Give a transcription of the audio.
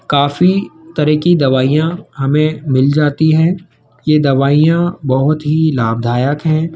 काफी तरह की दवाइयां हमें मिल जाती हैं ये दवाइयां बहोत ही लाभदायक हैं।